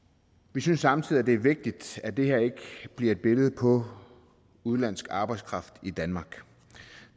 vi synes samtidig at det er vigtigt at det her ikke bliver et billede på udenlandsk arbejdskraft i danmark